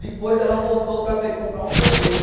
Depois ela voltou para comprar um sorvete.